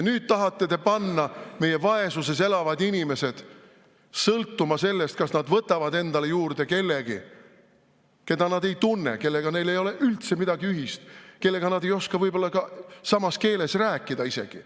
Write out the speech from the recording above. Nüüd tahate te panna meie vaesuses elavad inimesed sõltuma sellest, kas nad võtavad enda juurde kellegi, keda nad ei tunne, kellega neil ei ole üldse midagi ühist, kellega nad ei oska võib-olla isegi samas keeles rääkida.